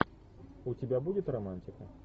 у тебя будет романтика